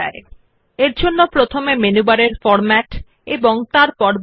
this way one can distinguish between different points written in the document